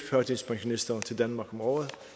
førtidspensionister til danmark om året